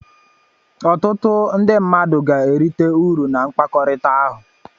ọtụtụ ndị mmadụ ga-erite uru na mkpakọrịta ahụ